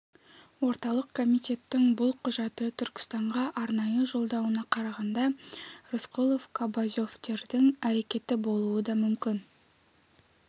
орталық комитеттің бұл құжатты түркістанға арнайы жолдауына қарағанда рысқұлов кобозевтердің әрекеті болуы да мүмкін